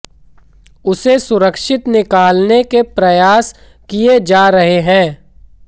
उसे सुरक्षित निकालने के प्रयास किए जा रहे हैं